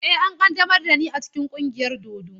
Eh, an ƙaddamar da ni cikin ƙungiyar dodo.